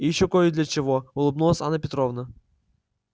и ещё кое для чего улыбнулась анна петровна